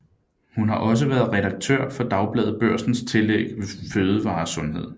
Hun har også været redaktør for Dagbladet Børsens tillæg FødevareSundhed